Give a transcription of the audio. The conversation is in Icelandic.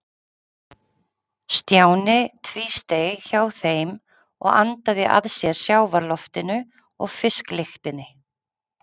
Stjáni tvísteig hjá þeim og andaði að sér sjávarloftinu og fisklyktinni.